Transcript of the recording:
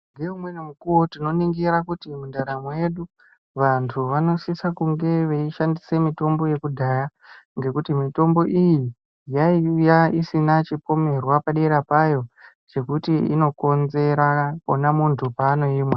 Ngeumweni mukuwo tinoningira kuti ndaramo yedu vantu vanosise kunge veishandisa mitombo yekudhaya ngekuti mitombo iyi yaiya isina chipomerwa padera payo chekuti inokonzera ona muntu paanoimwa.